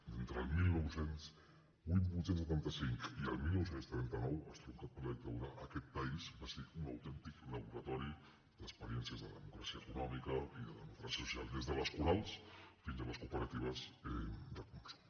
entre el divuit setanta cinc i el dinou trenta nou estroncat per la dictadura aquest país va ser un autèntic laboratori d’experiències de democràcia econòmica i de democràcia social des de les corals fins a les cooperatives de consum